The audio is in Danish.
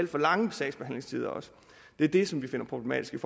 for lange sagsbehandlingstider det er det som vi finder problematisk